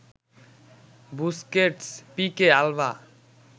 Busquets, Pique, Alva